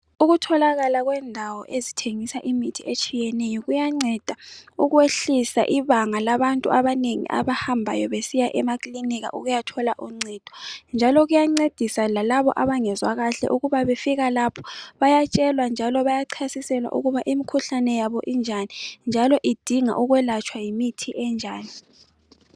Ukutholakala kwendawo ezithengisa imithi etshiyeneyo kuyanceda ukwehlisa ibanga labantu abanengi abahambayo besiya emakilinika besiyathola uncedo njalo kuyancedisa lalabo abangezwa kahle ukuba befika lapho bayatshelwa njalo bayachasiselwa ukuba imkhuhlane yabo injani njalo idinga ukwelatshwa yimithi enjani.